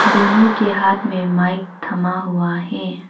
दोनों के हाथ में माइक थमा हुआ है।